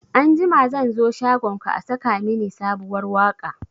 Anjima zan zo shagonka a saka mini sabuwar waka